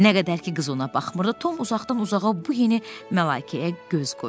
Nə qədər ki, qız ona baxmırdı, Tom uzaqdan-uzağa bu yeni məlaikəyə göz qoydu.